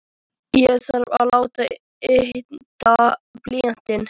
Ég þarf að láta ydda blýantinn.